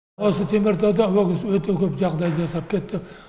осы теміртауда ол кісі өте көп жағдай жасап кетті